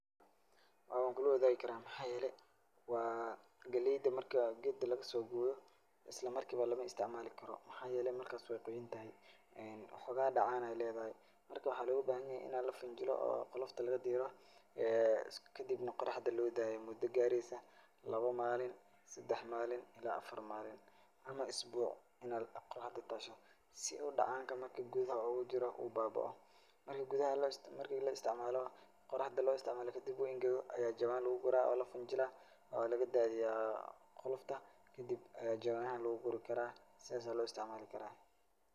Waa kula wadaagi karaa maxaa yeelay waa gelayda marka geedka lagasoogooyo islamarkiba lama istacmaalikaro. Maxaa yeelay markaas waay quuyantahay ee hoogo dhaxaan ayaay leedahay. Marka waxaa looga bahanyahay inay lifinjilo oo qolofta lagadiiro ee kadibna qoraxda loo daayo mudo gaareysa laba maalin, sedax maalin ilaa afar maalin ama isbuc inaa qoraxda taasho si udhacaan kamaki gudaha ugujiro u baabaco. Marki gudaha, marki la istacmaalo quraxda loo istacmaalo kadib uu engego ayaa jawaan lugu guraa oo lafinjilaa oo laga daadiyaa qolofta kadib ayaa jawaamaha lugu guri karaa saas ayaa loo istacmaali karaa.